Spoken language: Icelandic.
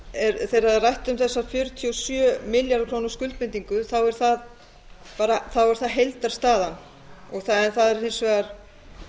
þegar er rætt um þessa fjörutíu og sjö milljarða króna skuldbindingu er það heildarstaðan en það er hins vegar